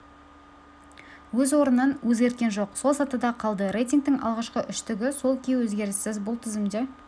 өз орнын өзгерткен жоқ сол сатыда қалды рейтингтің алғашқы үштігі сол күйі өзгеріссіз бұл тізімде